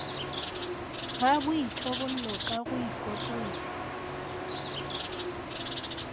ga boithobollo ka go ikotlolla